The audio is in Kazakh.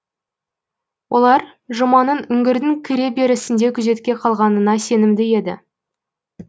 олар жұманың үңгірдің кіре берісінде күзетке қалғанына сенімді еді